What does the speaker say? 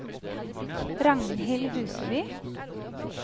Ragnhild Huseby